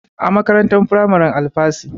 A makarantar firamaren Alafasy.